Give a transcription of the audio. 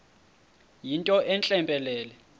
yinto entle mpelele